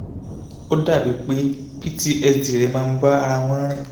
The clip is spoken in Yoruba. ó dàbí pé ptsd rẹ̀ máa ń bá ara wọn rìn